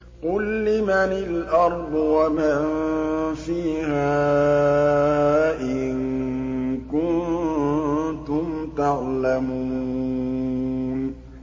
قُل لِّمَنِ الْأَرْضُ وَمَن فِيهَا إِن كُنتُمْ تَعْلَمُونَ